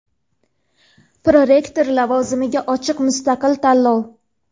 Prorektor lavozimiga ochiq mustaqil tanlov.